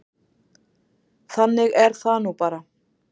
Þannig er það nú bara.